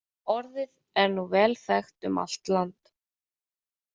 Orðið er nú vel þekkt um allt land.